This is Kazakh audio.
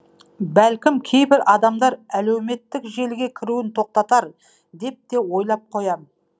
бәлкім кейбір адамдар әлеуметтік желіге кіруін тоқтатар деп те ойлап қоям